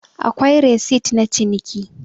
akwai resit na ciniki